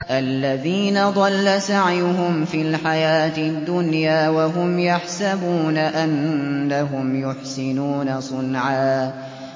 الَّذِينَ ضَلَّ سَعْيُهُمْ فِي الْحَيَاةِ الدُّنْيَا وَهُمْ يَحْسَبُونَ أَنَّهُمْ يُحْسِنُونَ صُنْعًا